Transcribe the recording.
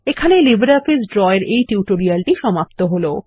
এখানেই LibreOffice Draw এর এই টিউটোরিয়ালটি সমাপ্ত হল